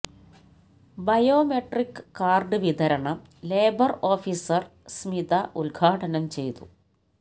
biometric card വിതരണം labour officer Smitha ഉദ്ഘാടനം ചെയ്തു